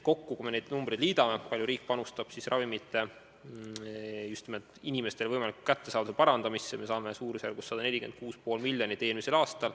Kui me need numbrid kokku liidame – kui palju panustab riik ravimite just nimelt inimestele kättesaadavuse parandamisse –, saame eelmise aasta kohta summaks 146,5 miljonit.